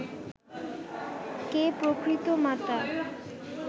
কে প্রকৃত মাতা